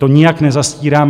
To nijak nezastírám.